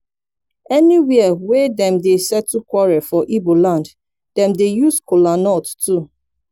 anywia wey dem dey settle quarel for igboland dem dey use kolanut too